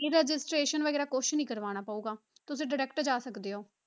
Registration ਵਗ਼ੈਰਾ ਕੁਛ ਨੀ ਕਰਵਾਉਣਾ ਪਊਗਾ, ਤੁਸੀਂ direct ਜਾ ਸਕਦੇ ਹੋ।